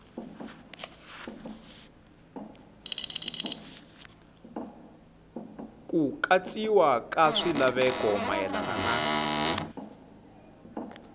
ku katsiwa ka swilaveko mayelana